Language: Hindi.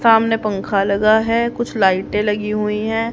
सामने पंखा लगा है कुछ लाइटें लगी हुई हैं।